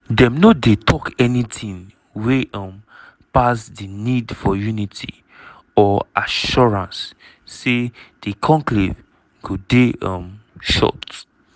dem no dey tok anytin wey um pass di "need for unity" or assurance say di conclave go dey um short.